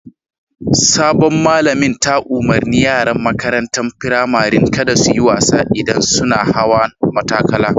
Sabon malamin ta umarni yaran makarantan firamarin kada su yi wasa idan sunna hawan matakala.